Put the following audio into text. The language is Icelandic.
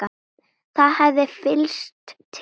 Það hefði flykkst til